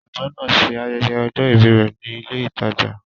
Ọ̀jọ̀gbọ́n náà ń ṣe ayẹyẹ ọjọ́ ìbí rẹ̀ ní ilé ìtajà.